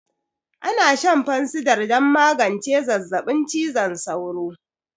Ana shan fansidar don magance zazzabin cizon sauro